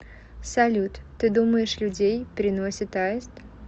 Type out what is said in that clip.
салют ты думаешь людей приносит аист